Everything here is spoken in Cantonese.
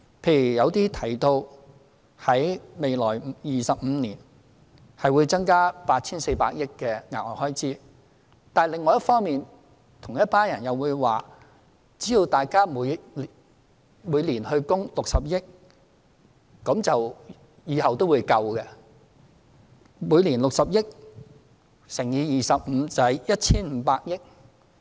例如，有人提到未來25年，企業會增加 8,400 億元的額外開支，但另一方面，同一群人又會說，只要大家每年供款60億元，往後也會足夠支付遣散費及長期服務金。